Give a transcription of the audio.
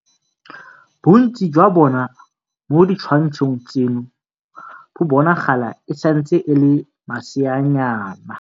Bontsi jwa bona mo ditshwantshong tseno bo bonagala e santse e le maseanyana.